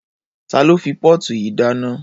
Ta ló fi póòtù yìí dáná?